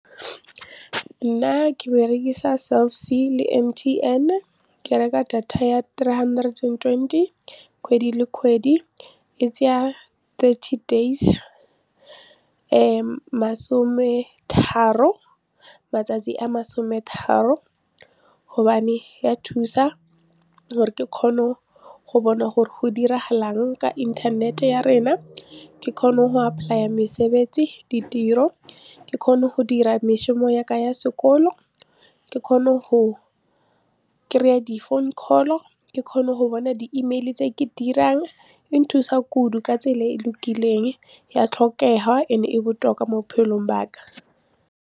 Nna ke berekisa Cell C le M_T_N ke reka data ya three hundred and twenty kgwedi le kgwedi, e tsaya thirty days masome tharo matsatsi a masome tharo gobane ya thusa gore ke kgone go bona gore go diragalang ka inthanete ya rena ke kgona go apply-a mesebetsi ditiro, ke kgone go dira mešomo yaka ya sekolo, ke kgone go kry-a di-phone call ke kgone go bona di-email tse ke dirang e nthusa kudu ka tsela e e lokileng ya tlhokega and-e botlhoka mo bophelong ba ka.